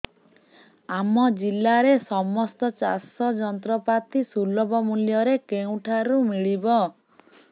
ଆମ ଜିଲ୍ଲାରେ ସମସ୍ତ ଚାଷ ଯନ୍ତ୍ରପାତି ସୁଲଭ ମୁଲ୍ଯରେ କେଉଁଠାରୁ ମିଳିବ